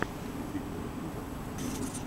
включи киношку жанр комедия